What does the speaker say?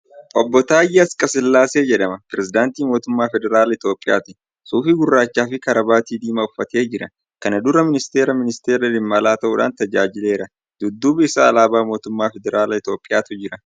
Obbo Taayyee Asqasillaasee jedhama. Pirzeedaantii Mootummaa Federaalaa Itoophiyaati. Suufii gurraacha fi karabaatii diimaa uffatee jira. kana dura Ministiira ministeera dhimma alaa ta'uudhaan tajaajileera. Dudduuba isaa alaabaa Mootummaa Federaalaa Itoophiyaatu jira.